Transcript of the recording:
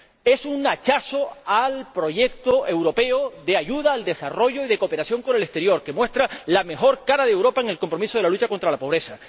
Es un hachazo al proyecto europeo de ayuda al desarrollo y de cooperación con el exterior, que muestra la mejor cara de Europa en el compromiso de la lucha contra la pobreza.